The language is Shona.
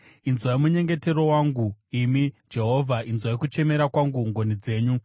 Inzwai munyengetero wangu, imi Jehovha; inzwai kuchemera kwangu ngoni dzenyu.